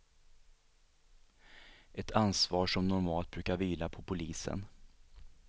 Ett ansvar som normalt brukar vila på polisen.